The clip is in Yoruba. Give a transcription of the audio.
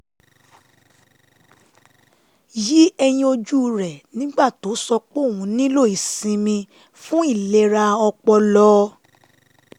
yí ẹyin ojú rẹ̀ nígbà tó sọ pé òun nílò ìsinmi fún ìlera ọpọlọ